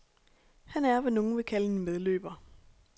Han er, hvad nogle vil kalde en medløber.